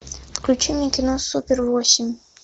включи мне кино супер восемь